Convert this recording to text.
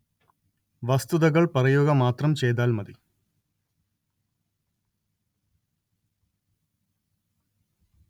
വസ്തുതകള്‍ പറയുക മാത്രം ചെയ്താല്‍ മതി